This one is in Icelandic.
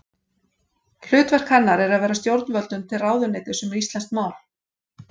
Hlutverk hennar er að vera stjórnvöldum til ráðuneytis um íslenskt mál.